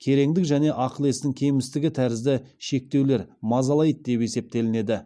кереңдік және ақыл естің кемістігі тәрізді шектеулер мазалайды деп есептелінеді